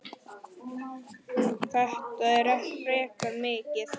Þetta er frekar mikið.